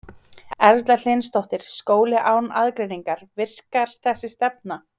Erla Hlynsdóttir: Skóli án aðgreiningar, virkar þessi stefna?